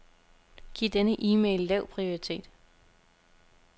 Giv denne e-mail lav prioritet.